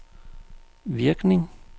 virkning